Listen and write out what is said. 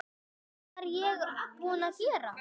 Hvað var ég búin að gera?